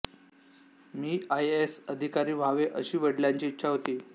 मी IAS अधिकारी व्हावे अशी वडिलांची इच्छा होती